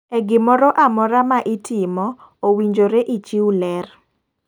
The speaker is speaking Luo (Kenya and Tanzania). E gimoro amora ma itomo ,owinjore ichiw ler.